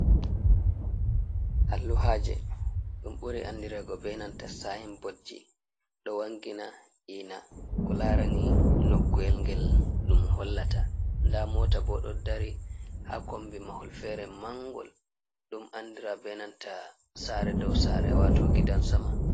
Alluhaje ɗum ɓuri andirego be nanta saynbotji. Ɗo wangina ina ko laarani noku’el ngel ɗum hollata, nda mota bo ɗo dari haa kombi mahol feere mangol, ɗum andira be nanta saare dow saare, waato gidan sama.